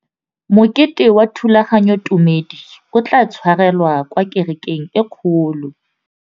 Mokete wa thulaganyôtumêdi o tla tshwarelwa kwa kerekeng e kgolo.